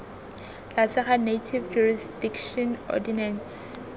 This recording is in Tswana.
tlase ga native jurisdiction ordinance